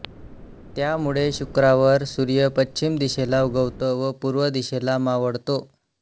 त्यामुळे शुक्रावर सूर्य पश्चिम दिशेला उगवतो व पूर्व दिशेला मावळतो